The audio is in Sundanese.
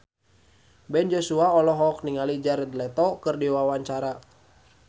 Ben Joshua olohok ningali Jared Leto keur diwawancara